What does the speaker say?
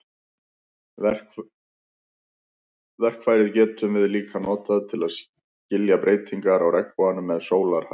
Verkfærið getum við líka notað til að skilja breytingar á regnboganum með sólarhæð.